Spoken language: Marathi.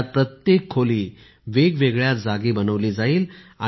यात प्रत्येक खोली वेगवगेळया जागी बनवली जाईल